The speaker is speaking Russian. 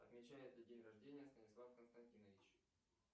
отмечает ли день рождения станислав константинович